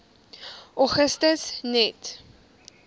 augustus net